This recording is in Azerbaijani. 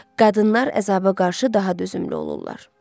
Qadınlar əzaba qarşı daha dözümlü olurlar.